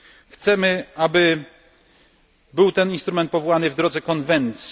Chcemy, aby ten instrument był powołany w drodze konwencji.